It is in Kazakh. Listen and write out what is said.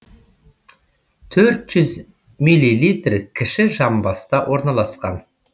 төрт жүз миллилитр кіші жамбаста орналасқан